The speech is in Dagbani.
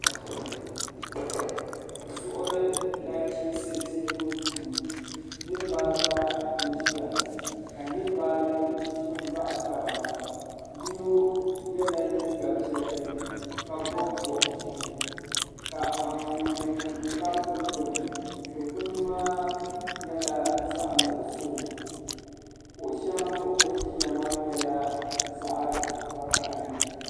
Zuɣuri na chinsi duu niriba ata n ziya ka niriba ayi zini baɣi taba yino yɛla liiga piɛlli ka yino bɔbi bɔbi zɛɛ ka anfooni nima tabi dukpuni du kpuni maa yɛla zaɣi nuɣiso kuɣu shɛŋa zuɣu bini ziya maa yɛla zaɣi vakahali.